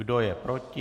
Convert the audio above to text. Kdo je proti?